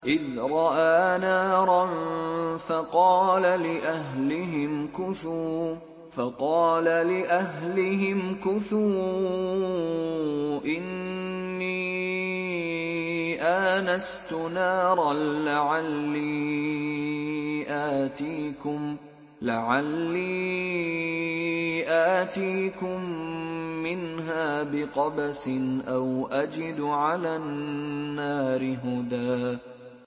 إِذْ رَأَىٰ نَارًا فَقَالَ لِأَهْلِهِ امْكُثُوا إِنِّي آنَسْتُ نَارًا لَّعَلِّي آتِيكُم مِّنْهَا بِقَبَسٍ أَوْ أَجِدُ عَلَى النَّارِ هُدًى